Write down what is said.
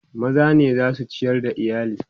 maza ne zasu ciyar da iyali